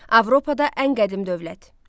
Avropada ən qədim dövlət.